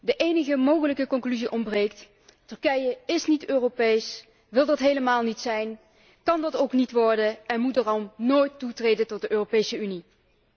De enige mogelijke conclusie ontbreekt Turkije is niet Europees, wil dat helemaal niet zijn, kan dat ook niet worden en moet daarom nooit toetreden tot de Europese Unie.